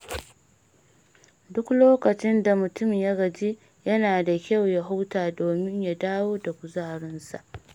Duk lokacin da mutum ya gaji, yana da kyau ya huta domin ya dawo da kuzarinsa.